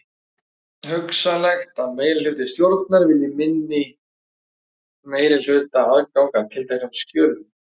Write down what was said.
Hugsanlegt er að meirihluti stjórnar vilji meina minnihlutanum aðgang að tilteknum skjölum.